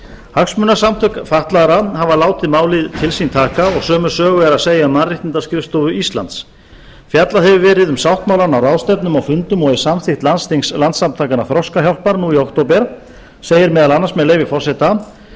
hagsmunasamtök fatlaðra haf látið málið til sín taka og sömu sögu er að segja um mannréttindaskrifstofu íslandi fjallað hefur verið um sáttmálann á ráðstefnum og fundum og í samþykkt landsþings landssamtakanna þroskahjálpar nú í október segir meðal annars með leyfi forseta